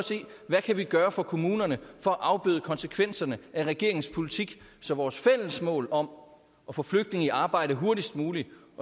hvad vi kan gøre for kommunerne for at afbøde konsekvenserne af regeringens politik så vores fælles mål om at få flygtninge i arbejde hurtigst muligt